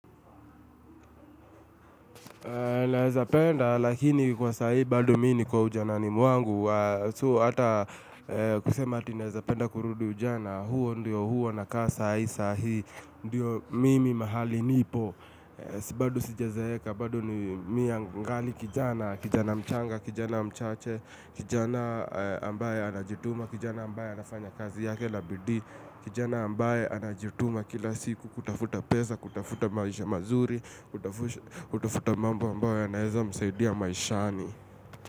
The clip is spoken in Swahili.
Naweza penda, lakini kwa sahi bado mimi niko ujanani mwangu. So ata kusema ati naeza penda kurudu ujana. Huo ndio huwa nakaa sahi sahi ndiyo mimi mahali nipo. Si bado sijazeeka bado ni miangali kijana, kijana mchanga, kijana mchache, kijana ambaye anajituma, kijana ambaye anafanya kazi yake na bidii, kijana ambaye anajituma kila siku kutafuta pesa, kutafuta maisha mazuri, kutafuta mambo ambayo yanaezamsaidia maishani.